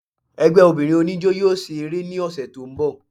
Ẹgbẹ́ obìnrin oníjọ́ yóò ṣe eré ní ọsẹ̀ tí ń bọ̀.